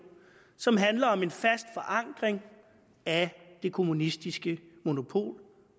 som handler om en fast forankring af det kommunistiske monopol